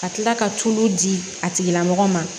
Ka tila ka tulu di a tigilamɔgɔ ma